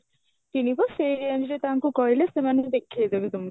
କିଣିବ ସେଇ range ରେ ତାଙ୍କୁ କହିଲେ ସେମାନେ ବି ଦେଖେଇ ଦେବେ ତମକୁ